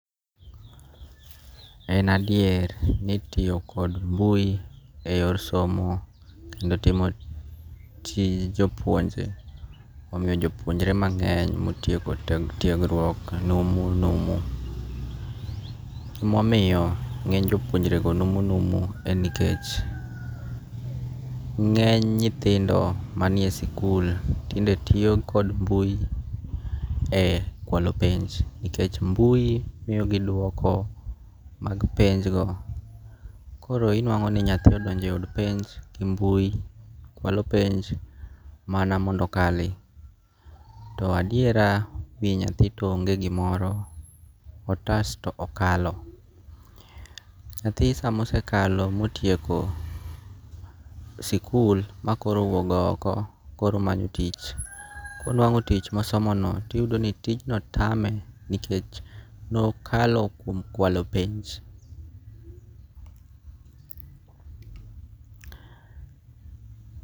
En adier ni tiyo kod mbui e yor somo kendo timo tij jopuonje omiyo jopuonjre mang'eny motieko tiegruok numu numu, emomiyo nge'ny jopuonjrego numunumu en nikech nge'ny nyithindo manie sikul tinde tiyo kod mbui e kwalo penj nikech mbui miyogi dwoko mag penjgo, koro inwago'ni nyathi odonje od penj gi mbuyi , kwalo penj mana mondo okali, to adiera wi nyathi to ong'e gimoro, otas to okalo, nyathi sama osekalo motieko sikul ma koro owuok go oko koro omanyo tich, konwango' tich ma osomono to iyudo ni tijno tame nikech nokalo kwalo penj.